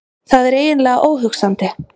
Það er eiginlega óhugsandi.